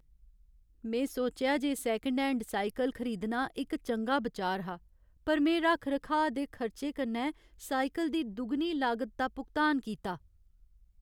में सोचेआ जे सेकंड हैंड साइकल खरीदना इक चंगा बिचार हा पर में रक्ख रखाऽ दे खर्चे कन्नै साइकल दी दुगनी लागत दा भुगतान कीता।